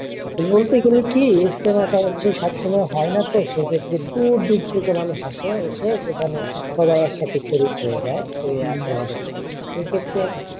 বলতে গেলে কি ইজতেমাটা হচ্ছে সব সময় হয় না তো সেক্ষেত্রে দূরদূর থেকে মানুষ আসে। এসে সেখান সবাই একসাথে সরিক হয়ে যায় হয়ে ইবাদত করে